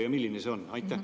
Ja milline see mõju on?